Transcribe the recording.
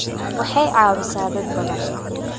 Waxay caawisaa dad badan.